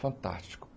Fantástico.